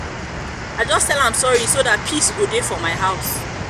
i just tell am sorry so dat peace go dey for my house